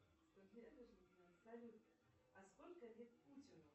салют а сколько лет путину